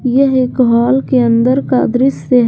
यह एक हॉल के अंदर का दृश्य है।